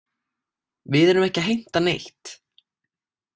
Við erum ekki að heimta neitt.